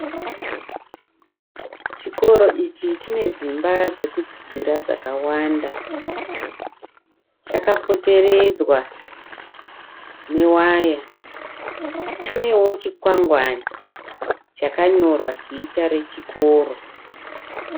Chikoro ichi chine dzimba dzekudzidzira dzakawanda. Chakapoteredzwa newaya. Chinewo chikwangwani chakanyorwa zita rechikoro.